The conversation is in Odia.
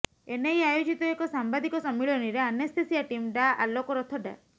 ଏନେଇ ଆୟୋଜିତ ଏକ ସାମ୍ବାଦିକ ସମ୍ମିଳନୀରେ ଆନେସ୍ଥେସିଆ ଟିମ୍ ଡା ଆଲୋକ ରଥ ଡା